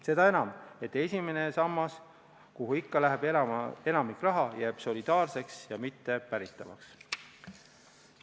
Seda enam, et esimene sammas, kuhu ikka läheb enamik rahast, jääb solidaarseks ja mittepäritavaks.